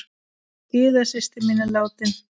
Gyða systir mín er látin.